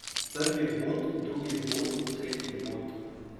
Prvi vbod, drugi vbod, tretji vbod.